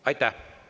Aitäh!